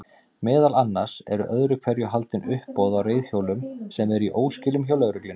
Meðal annars eru öðru hverju haldin uppboð á reiðhjólum sem eru í óskilum hjá lögreglunni.